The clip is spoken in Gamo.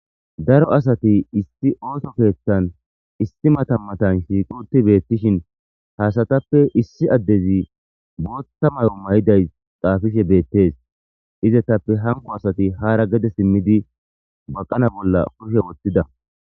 Daro asati issi ooso keeththan issi matan matan shiiquti beettishin haasatappe issi addezi bootta may'o may'iday xaafishe beettees. Izatappe hanko asati haara gede simmidi baqana bolla kushe wottida